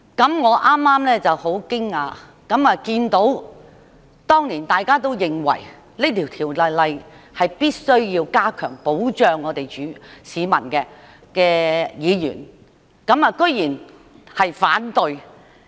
剛才我感到很驚訝，因我看到當年認為必須修訂這項條例以加強對市民的保障的議員，居然投反對票。